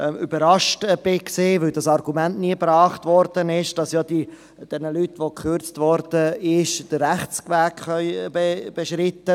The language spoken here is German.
Überrascht war ich etwas über das Argument – weil es nie gebracht wurde –, dass die Leute, bei denen gekürzt wird, den Rechtsweg beschreiten können.